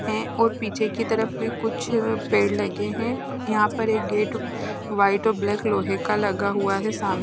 हे और पीछे की तरफ कुछ पेड़ लगे हे यहा पर एक गेट वाइट और ब्लेक लोहे का लगा हुआ हे साम --